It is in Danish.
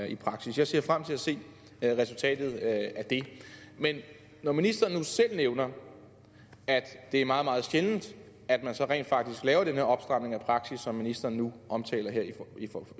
i praksis jeg ser frem til at se resultatet af det men når ministeren nu selv nævner at det er meget meget sjældent at man laver den her opstramning af praksis som ministeren nu omtaler her